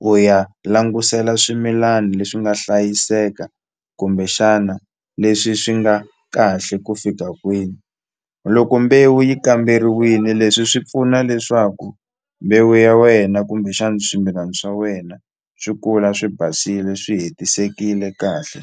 u ya langutisela swimilani leswi nga hlayiseka kumbexana leswi swi nga kahle ku fika kwini loko mbewu yi kamberiwile leswi swi pfuna leswaku mbewu ya wena kumbexani swimilana swa wena swi kula swi basile swi hetisekile kahle.